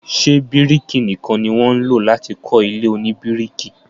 Ṣé bíríkì nìkan ni wọ́n ń lọ láti kọ́ ilé oníbíríkì.